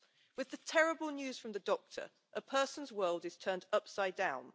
With the terrible news from the doctor, a person's world is turned upside down.